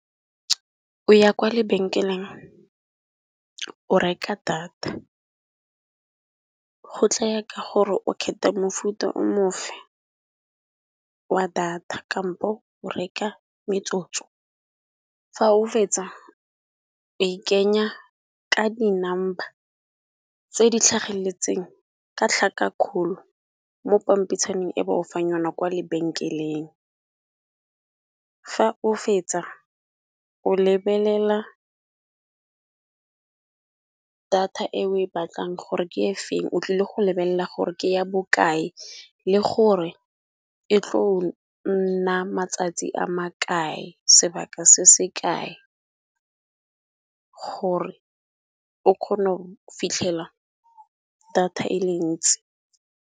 O ya kwa lebenkeleng o reka data go tlaya ka gore o kgetha mofuta o mofe wa data kampo o reka metsotso. Fa o fetsa o e kenya ka di number tse di tlhageletseng ka tlhaka kgolo mo pampitshaneng e ba o fa yona kwa lebenkeleng. Fa o fetsa o lebelela data e o e batlang gore ke e feng o tlile go lebelela gore ke ya bokae le gore e tlo nna matsatsi a makae, sebaka se se kae gore o kgone go fitlhela data e le ntsi.